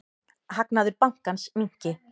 Hagnaður bankans minnki.